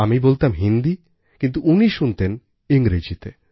আমি বলতাম হিন্দি কিন্তু উনি শুনতেন ইংরেজিতে